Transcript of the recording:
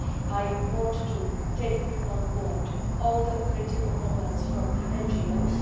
I want to take on board all the critical comments from the NGOs.